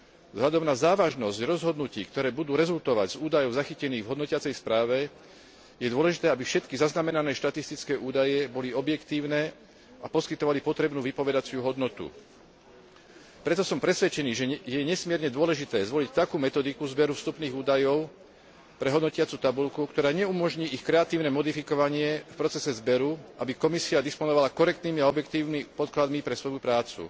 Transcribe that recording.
Vzhľadom na závažnosť rozhodnutí, ktoré budú rezultovať z údajov zachytených v hodnotiacej správe, je dôležité, aby všetky zaznamenané štatistické údaje boli objektívne a poskytovali potrebnú výpovednú hodnotu. Preto som presvedčený, že je nesmierne dôležité zvoliť takú metodiku zberu vstupných údajov pre hodnotiacu tabuľku, ktorá neumožní ich kreatívne modifikovanie v procese zberu, aby Komisia disponovala korektnými a objektívnymi podkladmi pre svoju prácu.